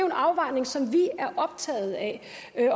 en afvejning som vi er optaget af